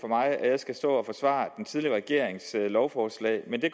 mig at jeg skal stå og forsvare den tidligere regerings lovforslag men det